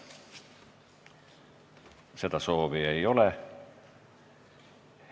Kõnesoove ei ole.